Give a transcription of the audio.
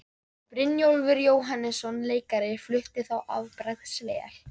Brynjólfur Jóhannesson leikari flutti þá afbragðsvel.